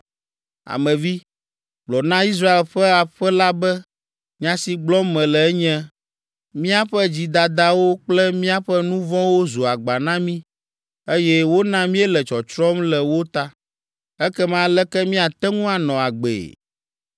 “Ame vi, gblɔ na Israel ƒe aƒe la be nya si gblɔm mele enye, ‘Míaƒe dzidadawo kple míaƒe nu vɔ̃wo zu agba na mí, eye wona míele tsɔtsrɔ̃m le wo ta. Ekema aleke míate ŋu anɔ agbee?’